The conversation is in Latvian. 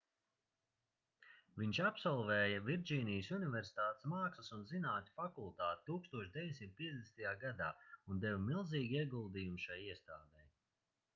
viņš absolvēja virdžīnijas universitātes mākslas un zinātņu fakultāti 1950. gadā un deva milzīgu ieguldījumu šai iestādei